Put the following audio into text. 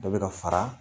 Dɔ bɛ ka fara